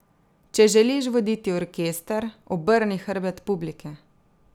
Če želiš voditi orkester, obrni hrbet publiki.